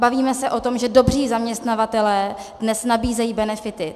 Bavíme se o tom, že dobří zaměstnavatelé dnes nabízejí benefity.